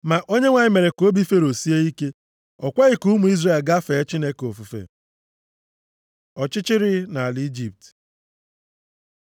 Ma Onyenwe anyị mere ka obi Fero sie ike, o kweghị ka ụmụ Izrel gaa fee Chineke ofufe. Ọchịchịrị nʼala Ijipt